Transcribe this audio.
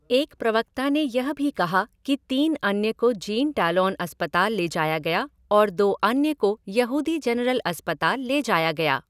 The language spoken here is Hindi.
एक प्रवक्ता ने यह भी कहा कि तीन अन्य को जीन टैलोन अस्पताल ले जाया गया और दो अन्य को यहूदी जनरल अस्पताल ले जाया गया।